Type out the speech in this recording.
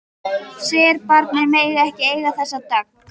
Serbarnir mega ekki eiga þessa dögg!